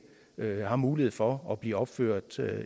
har mulighed for at blive opført